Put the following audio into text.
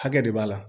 Hakɛ de b'a la